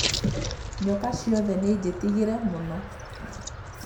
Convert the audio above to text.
Nyoka ciothe nĩnjĩtigire mũno